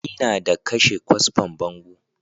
Ina da kashe kwasfan bango